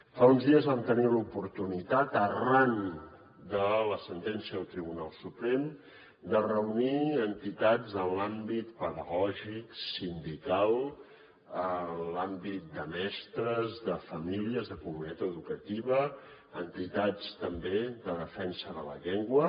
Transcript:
fa uns dies vam tenir l’oportunitat arran de la sentència del tribunal suprem de reunir entitats en els àmbits pedagògic sindical en els àmbits de mestres de famílies de comunitat educativa entitats també de defensa de la llengua